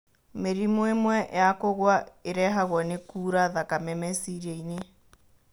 Mĩrimũ ĩmwe ya kũgwa ĩrehagwo nĩ kuura thakame meciria-inĩ.